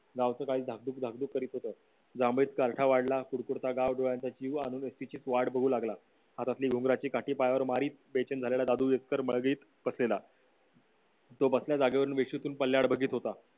गावची गाढव धाकधुक करीत होत वाढला एसटीची वाट बघू लागला हातातली उंबराची काठी पायावर मारीत patient झालेला दादू बसलेला तो बसलेल्या जागेवरून बेशुद्ध पडल्यावर बघत होता